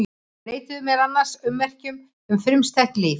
Þau leituðu meðal annars að ummerkjum um frumstætt líf.